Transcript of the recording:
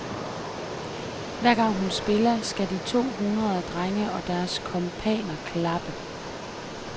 Hver gang hun spiller, skal de to hundrede drenge og deres kumpaner klappe.